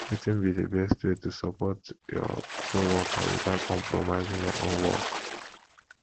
wetin be di best way to support your coworker without compromising your own work